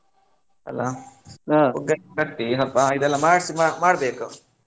ಅಲ್ಲಾ ಪುಗ್ಗ ಎಲ್ಲ ಕಟ್ಟಿ ಹಬ್ಬ ಇದೆಲ್ಲ ಮಾಡ್ಸಿ ಮಾಡ್ಬೇಕು.